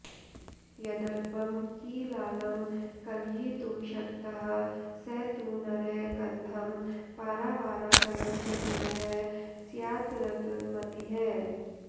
यदल्पं कीलालं कलयितुमशक्तः स तु नरः कथं पारावाराकलनचतुरः स्यादृतमतिः